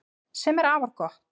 Sem er afar gott